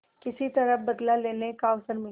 किसी तरह बदला लेने का अवसर मिले